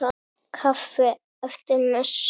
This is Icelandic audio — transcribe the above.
Kaffi eftir messu.